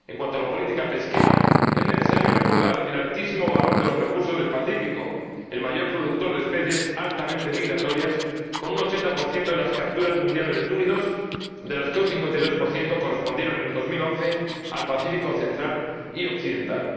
En cuanto a la política pesquera, es necesario recordar el altísimo valor de los recursos del Pacífico, el mayor productor de especies altamente migratorias, con un 80 de las capturas mundiales de túnidos, de las que un 52 correspondieron en 2011 al Pacífico central y occidental.